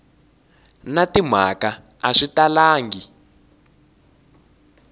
na timhaka a swi talangi